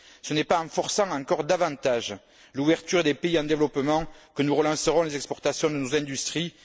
Ce n'est pas en forçant encore davantage l'ouverture des pays en développement que nous relancerons les exportations de nos industries.